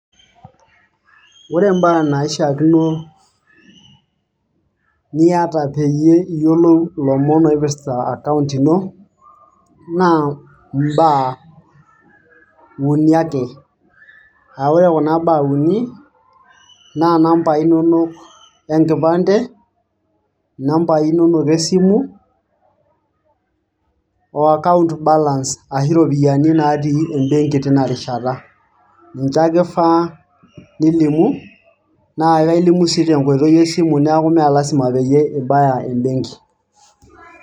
Ore mbaa naishiaakino niata peyie iyiolou ilomonloipirta account ino naa mbaa uni ake. aa ore kuna baa uni naa inambai inonok enkipande, nambai inonok e simu o account balance ashu iropiyian natii ebenki tina rishata . niche ake ifaa nilimu naa ilimu sii tenkoitoi esimu niaku mmee lasima peyie ibaya ebenki.